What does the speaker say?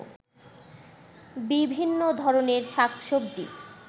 বিভিন্ন ধরনের শাক-সবজি